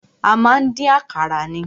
A má ń dín àkàrà ni.